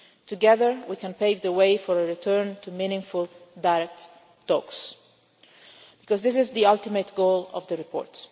Together we can pave the way for a return to meaningful direct talks because this is the ultimate goal of the report.